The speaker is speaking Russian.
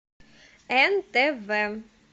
нтв